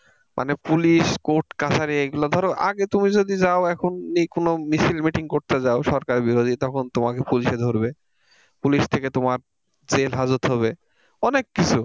মানে police court কাছারী এগুলো ধরো আগে তুমি যদি যাও এখনই কোন মিছিল- meeting করতে যাও সরকারবিরোধী তখন তোমাকে police এ ধরবে police থেকে তোমার jail হাজত হবে অনেক কিছু।